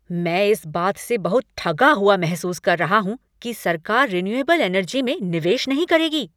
मैं इस बात से बहुत ठगा हुआ महसूस कर रहा हूँ कि सरकार रीन्युएबल एनर्जी में निवेश नहीं करेगी।